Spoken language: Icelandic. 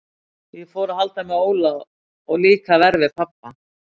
Ég fór að halda með Óla og líka verr við pabba.